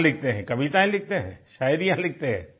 क्या लिखते हैं कविताएँ लिखते हैं शायरियाँ लिखते हैं